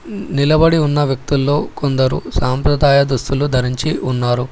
నిలబడి ఉన్న వ్యక్తుల్లో కొందరు సాంప్రదాయ దుస్తులు ధరించి ఉన్నారు.